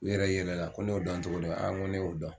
U yɛrɛ yɛlɛla ko ne y'o dɔn cogo di ? n ko ne y'o dɔn